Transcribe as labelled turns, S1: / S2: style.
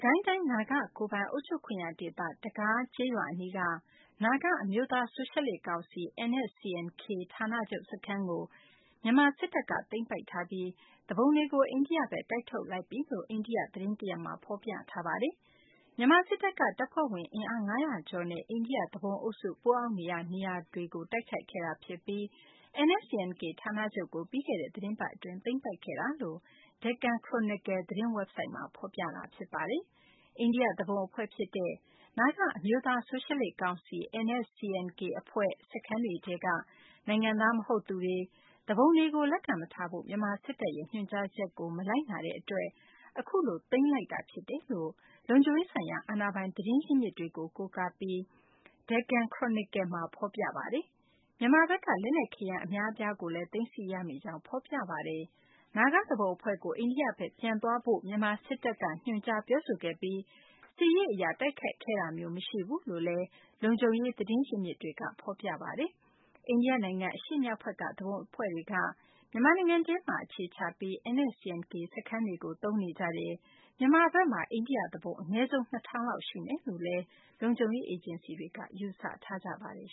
S1: ကိုင်းတိုင်း နာဂကိုယ်ပိုင် အုပ်ချုပ်ခွင့်ရ ဒေသ တကား ကျေးရွာ အနီးက နာဂ အမျိုးသား ဆိုရှယ်လစ် ကောင်စီ NSCN-K ဌာနချုပ် စခန်းကို မြန်မာ စစ်တပ်က သိမ်းပိုက်ထားပြီး သူပုန်တွေကို အိန္ဒိယဘက် တိုက်ထုတ်လိုက်ပြီလို့ အိန္ဒိယ သတင်းတရပ်မှာ ဖော်ပြထားပါတယ်။ မြန်မာ စစ်တပ်က တပ်ဖွဲ့ဝင် အင်အား ၅၀၀ ကျော်နဲ့ အိန္ဒိယ သူပုန်အုပ်စု ပုန်းအောင်းနေရာ နေရာကို တိုက်ခိုက်ခဲ့တာ ဖြစ်ပြီး NSCN – K ဌာနချုပ်ကို ပြီးခဲ့တဲ့ သတင်းပတ် အတွင်း သိမ်းပိုက်ခဲ့တာလို့ Deccan Chronicle သတင်းဝက်ဘ်ဆိုဒ်မှာ ဖော်ပြထားပါတယ်။ အိန္ဒိယ သူပုန် အဖွဲ့ ဖြစ်တဲ့ နာဂ အမျိုးသား ဆိုရှယ်လစ် ကောင်စီ NSCN-K အဖွဲ့ စခန်းတွေထဲက နိုင်ငံသား မဟုတ်သူတွေ၊ သူပုန်တွေကို လက်ခံမထားဖို့ မြန်မာ စစ်တပ်ရဲ့ ညွှန်ကြားချက်ကို မလိုက်နာခဲ့တဲ့ အတွက် အခုလို သိမ်းပိုက်ခဲ့တာ ဖြစ်တယ်လို့ လုံခြုံရေးဆိုင်ရာ အာဏာပိုင် သတင်းရင်းမြစ်တွေကို ကိုးကားပြီး Deccan Chronicle မှာ ဖော်ပြထားပါတယ်။ မြန်မာဘက်က လက်နက် ခဲယမ်း အများအပြားကိုလည်း သိမ်းဆည်း ရမိကြောင်းလည်း ဖော်ပြပါတယ်။ နာဂ သူပုန် အဖွဲ့ကို အိန္ဒိယဘက် ပြန်သွားဖို့ကိုသာ မြန်မာ စစ်တပ်က ညွှန်ကြား ပြောဆိုခဲ့ပြီး သူပုန်တွေကို စစ်ရေး အရ တိုက်ခိုက်ခဲ့တာမျိုး မရှိဘူးလို့လည်း လုံခြုံရေး သတင်းရင်းမြစ်တွေက ဖော်ပြထားပါတယ်။ အိန္ဒိယ နိုင်ငံ အရှေ့မြောက်ဘက်က သူပုန်အဖွဲ့တွေက မြန်မာနိုင်ငံထဲမှာ အခြေချပြီး NSCN – K စခန်းတွေကို သုံးနေကြတယ်၊ မြန်မာဘက်မှာ အိန္ဒိယ သူပုန် အနည်းဆုံး ၂ ထောင်လောက် ရှိမယ်လို့လည်း လုံခြုံရေး အေဂျင်စီတွေက ယူဆထားကြပါတယ်